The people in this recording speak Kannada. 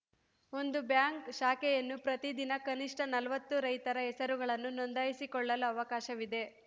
ಒಂದು ಬ್ಯಾಂಕ್‌ ಶಾಖೆಯನ್ನು ಪ್ರತಿದಿನ ಕನಿಷ್ಠ ನಲವತ್ತು ರೈತರ ಹೆಸರುಗಳನ್ನು ನೋಂದಾಯಿಸಿಕೊಳ್ಳಲು ಅವಕಾಶವಿದೆ